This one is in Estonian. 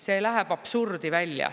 See läheb absurdi välja.